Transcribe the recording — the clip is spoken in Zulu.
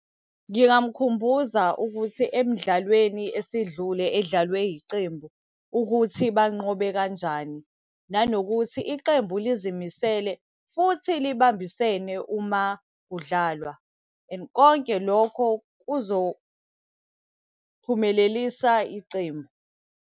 Ngingamkhumbuza ukuthi emidlalweni esidlule edlalwe yiqembu ukuthi banqobe kanjani. Nanokuthi iqembu lizimisele, futhi libambisene uma kudlalwa, and konke lokho kuzophumelelisa iqembu.